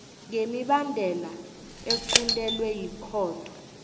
ngemibandela equntelwe yikhotho